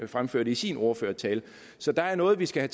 fremførte i sin ordførertale så der er noget vi skal